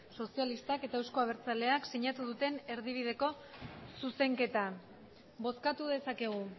sozialistak eta euzko abertzaleak sinatu duten erdibideko zuzenketa bozkatu dezakegu